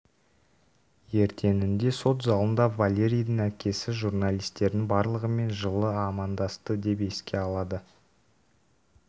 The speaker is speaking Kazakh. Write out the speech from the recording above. ертеңінде сот залында валеридің әкесі журналистердің барлығымен жылы амадасты деп еске алады